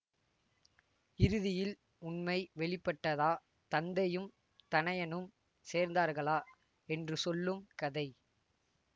இறுதியில் உண்மை வெளிப்பட்டதா தந்தையும் தனயனும் சேர்ந்தார்களா என்று சொல்லும் கதை